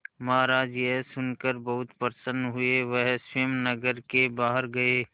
महाराज यह सुनकर बहुत प्रसन्न हुए वह स्वयं नगर के बाहर गए